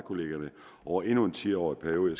kollegierne over endnu en ti årig periode